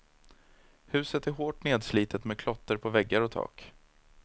Huset är hårt nedslitet med klotter på väggar och tak.